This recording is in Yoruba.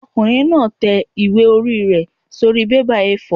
Ọkùnrin náà tẹ ìwé-ẹ̀rí rẹ̀ sórí bébà A4